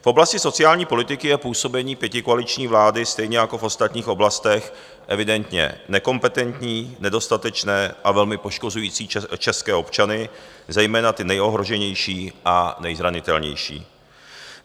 V oblasti sociální politiky je působení pětikoaliční vlády stejně jako v ostatních oblastech evidentně nekompetentní, nedostatečné a velmi poškozující české občany, zejména ty nejohroženější a nezranitelnější.